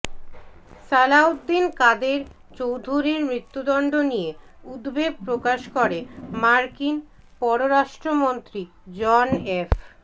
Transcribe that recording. সালাউদ্দিন কাদের চৌধুরীর মৃত্যুদণ্ড নিয়ে উদ্বেগ প্রকাশ করে মার্কিন পররাষ্ট্রমন্ত্রী জন এফ